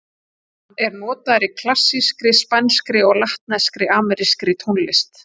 Hann er notaður í klassískri, spænskri og latnesk-amerískri tónlist.